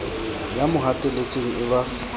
ya mo hatelletseng e ba